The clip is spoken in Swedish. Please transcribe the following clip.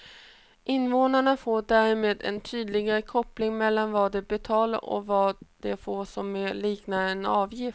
Invånarna får därmed en tydligare koppling mellan vad de betalar och vad de får som mer liknar en avgift.